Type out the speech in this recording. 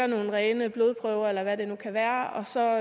nogle rene blodprøver eller hvad det nu kan være så